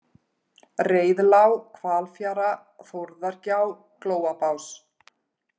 Reiðlág, Hvalfjara, Þórðargjá, Glóabás